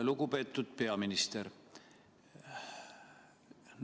Lugupeetud peaminister!